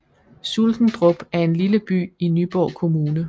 Sulkendrup er en lille by i Nyborg Kommune